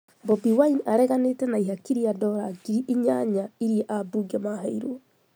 Bobi Wine areganĩte na ihaki rĩa dollar ngiri inyanya iria abunge maheirwo